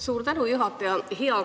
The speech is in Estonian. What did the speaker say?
Suur tänu, juhataja!